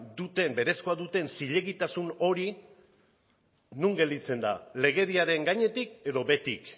berezkoak duten zilegitasun hori non gelditzen da legediaren gainetik edo behetik